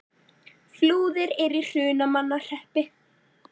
Flúðir er í Hrunamannahreppi.